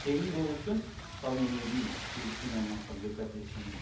тегін болу үшін мысалы мен өзім жүгіріспен айналысамын легкий атлетикамен